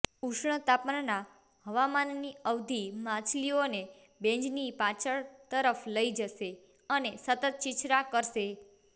ઉષ્ણતામાનના હવામાનની અવધિ માછલીઓને બેઝની પાછળ તરફ લઇ જશે અને સતત છીછરા કરશે